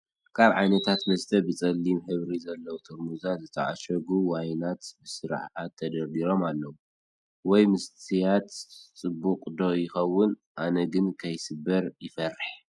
ካብ ዓይነታት መስተ ብፀሊብ ሕብሪ አለዎም ጥርሙዛት ዝተዓሸጉ ዋይናት ብስርዓት ተደርዱሮም ኣለው። ወይን ምስታይ ፅቡቅ ዶ ይከውን፣ ኣነ ግን ከይሰክር ይፈርሕ።